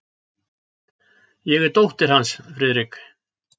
Ég er dóttir hans, Friðrik.